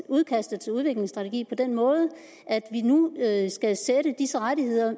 udkastet til udviklingsstrategien på den måde at vi nu skal sætte disse rettigheder